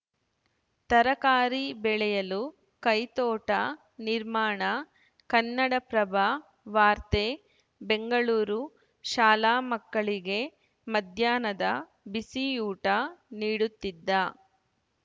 ತರಕಾರಿ ಬೆಳೆಯಲು ಕೈತೋಟ ನಿರ್ಮಾಣ ಕನ್ನಡಪ್ರಭ ವಾರ್ತೆ ಬೆಂಗಳೂರು ಶಾಲಾ ಮಕ್ಕಳಿಗೆ ಮಧ್ಯಾಹ್ನದ ಬಿಸಿಯೂಟ ನೀಡುತ್ತಿದ್ದ